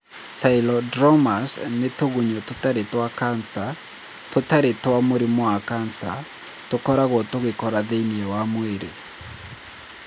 Cylindromas nĩ tũgunyũ tũtarĩ twa kansa (tũtarĩ twa mũrimũ wa cancer) tũkoragwo tũgĩkũra thĩinĩ wa mwĩrĩ.